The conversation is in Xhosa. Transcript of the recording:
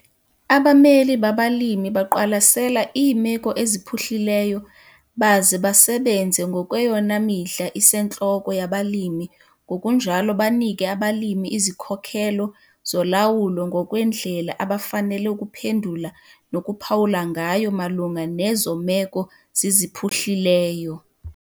Abameli babalimi baqwalasela iimeko eziphuhlileyo baze basebenze ngokweyona midla isentloko yabalimi ngokunjalo banike abalimi izikhokelo zolawulo ngokwendlela abafanele ukuphendula nokuphawula ngayo malunga nezo meko ziziphuhlileyo.